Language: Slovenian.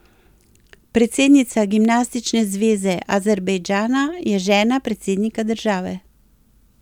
Predsednica gimnastične zveze Azerbajdžana je žena predsednika države.